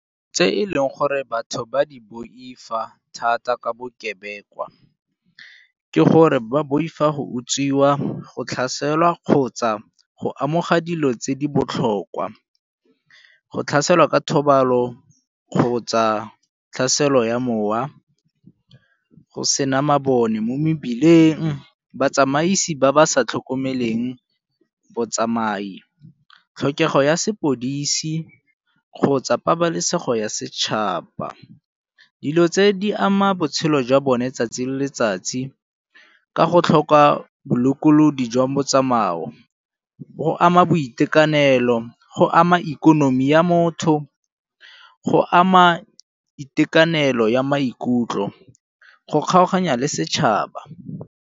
Tse e leng gore batho ba di boifa thata ka bokebekwa ke gore ba boifa go utswiwa, go tlhaselwa kgotsa go amogela dilo tse di botlhokwa. Go tlhaselwa ka thobalo kgotsa tlhaselo ya mowa go sena mabone mo mebileng. Batsamaisi ba ba sa tlhokomeleng botsamai, tlhokego ya sepodisi kgotsa pabalesego ya setšhaba. Dilo tse di ama botshelo jwa bone 'tsatsi le letsatsi ka go tlhoka bobolokelodi jwa motsamao go ama boitekanelo, go ama ikonomi ya motho, go ama itekanelo ya maikutlo, go kgaoganya le setšhaba.